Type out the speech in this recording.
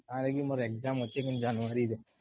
ମୋର exam ଅଛି ଜାନୁଆରୀରେ